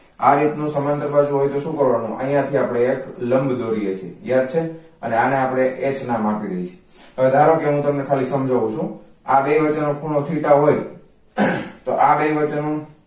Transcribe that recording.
આ રીતનું સમાંતર બાજુ હોય તો શું કરવા નુ અહીંયા થી આપણે લંબ દોરીએ છે યાદ છે અને આને આપડે એચ નામ આપી દઈએ છીએ હવે ધારો કે હું તમને ખાલી સમજાવું છુ આ બે વચ્ચે નો ખૂણો theta હોય આહ તો આ બે વચ્ચેનું